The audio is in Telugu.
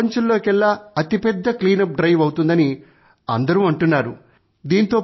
ఇది ప్రపంచంలోకెల్లా అతిపెద్ద క్లీనప్ డ్రైవ్ అవుతుందని అందరూ అంటున్నారు